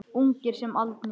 Ungir sem aldnir.